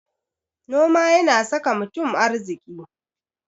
Noma yana saka mutum arziki.